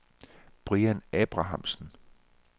Brian Abrahamsen